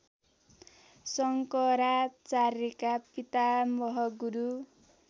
शंकराचार्यका पितामह गुरू